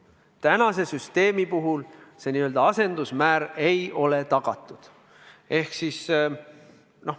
Praeguse süsteemi puhul pole soovitav n-ö asendusmäär tagatud.